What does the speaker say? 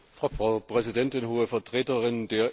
Frau Präsidentin, Hohe Vertreterin!